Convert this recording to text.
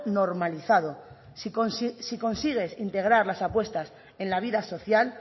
normalizado si consigues integrar las apuestas en la vida social